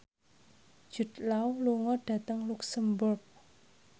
Jude Law lunga dhateng luxemburg